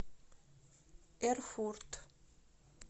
эрфурт